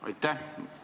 Aitäh!